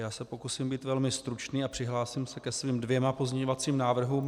Já se pokusím být velmi stručný a přihlásím se ke svým dvěma pozměňovacím návrhům.